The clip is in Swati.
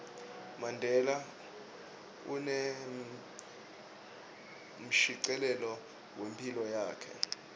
mandela unemshicilelo wephilo yakhe